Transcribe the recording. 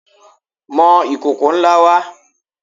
Mọ ìkòkò ńlá wá!